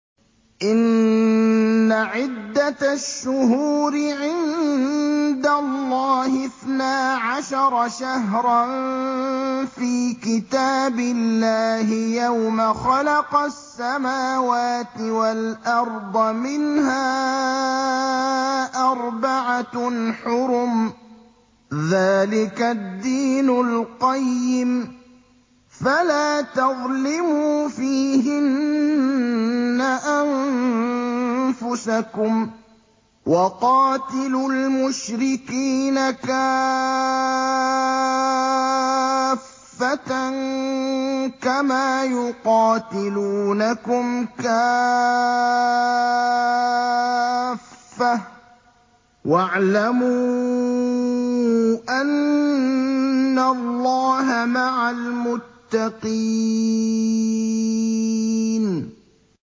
إِنَّ عِدَّةَ الشُّهُورِ عِندَ اللَّهِ اثْنَا عَشَرَ شَهْرًا فِي كِتَابِ اللَّهِ يَوْمَ خَلَقَ السَّمَاوَاتِ وَالْأَرْضَ مِنْهَا أَرْبَعَةٌ حُرُمٌ ۚ ذَٰلِكَ الدِّينُ الْقَيِّمُ ۚ فَلَا تَظْلِمُوا فِيهِنَّ أَنفُسَكُمْ ۚ وَقَاتِلُوا الْمُشْرِكِينَ كَافَّةً كَمَا يُقَاتِلُونَكُمْ كَافَّةً ۚ وَاعْلَمُوا أَنَّ اللَّهَ مَعَ الْمُتَّقِينَ